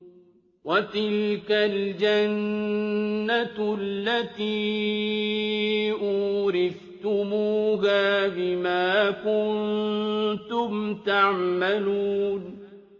وَتِلْكَ الْجَنَّةُ الَّتِي أُورِثْتُمُوهَا بِمَا كُنتُمْ تَعْمَلُونَ